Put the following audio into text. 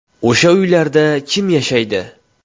O‘sha uylarda kim yashaydi?